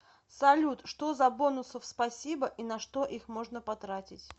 салют что за бонусов спасибо и на что их можно потратить